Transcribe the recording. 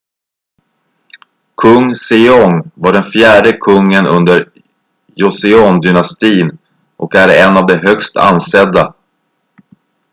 kung sejong var den fjärde kungen under joseondynastin och är en av de högst ansedda